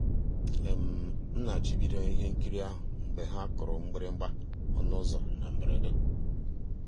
m na-àchọ́ ìbìdó ihe nkírí ahụ́ mgbe ha kùrù mgbị̀rị̀gbà ọnụ́ ụ́zọ́ na mbèredè.